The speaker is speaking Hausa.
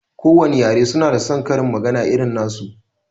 Ko wane yare su na da saon karin magana irin nasu